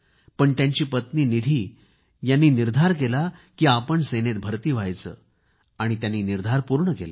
तर त्यांची पत्नी निधी यांनी निर्धार केला की आपण सेनेत भर्ती व्हायचे आणि त्यांनी निर्धार पूर्ण केला